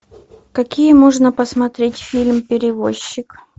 какие можно посмотреть фильм перевозчик